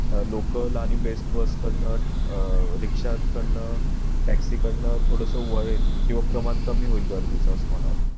Local आणि Best bus काढण अह रिक्षा कडनं taxi काढणं थोडस वळेल किंवा प्रमाण कमी होईल गर्दीच असं मला वाटाय